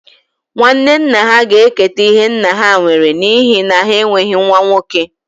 Nwanne nna ha ga-eketa ihe nna ha nwere n'ihi na ha enweghị nwa nwoke